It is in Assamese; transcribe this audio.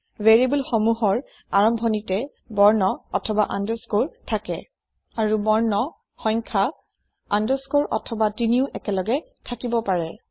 ভেৰিয়েবল সমূহৰ আৰম্ভণিতে বৰ্ণ অথবা আণ্ডাৰস্কৰে থাকে আৰু বৰ্ণ সংখ্যা আণ্ডাৰস্কৰে অথবা তিনিও একেলগে থাকিব পাৰে